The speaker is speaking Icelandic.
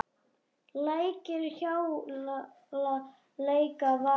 Lækir hjala, leika, vaka.